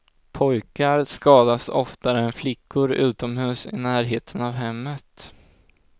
Pojkar skadas oftare än flickor utomhus i närheten av hemmet.